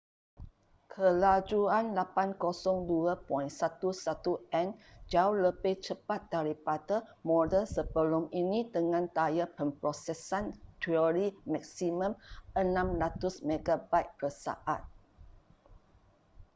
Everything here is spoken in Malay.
kelajuan 802.11n jauh lebih cepat daripada model sebelum ini dengan daya pemprosesan teori maksimum 600mbit/s